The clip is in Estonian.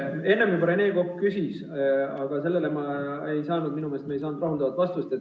Enne Rene Kokk juba küsis, aga sellele me ei saanud rahuldavat vastust.